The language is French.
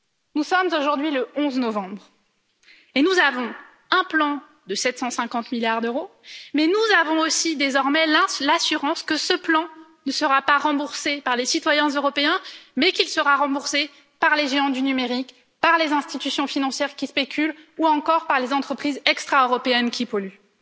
Nous sommes aujourd'hui le 11 novembre, et nous avons un plan de 750 milliards d'euros, mais nous avons aussi désormais l'assurance que ce plan ne sera pas remboursé par les citoyens européens, mais qu'il sera remboursé par les géants du numérique, par les institutions financières qui spéculent, ou encore par les entreprises extra européennes qui polluent.